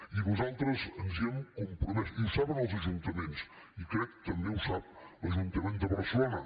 i nosaltres ens hi hem compromès i ho saben els ajuntaments i ho crec també ho sap l’ajuntament de barcelona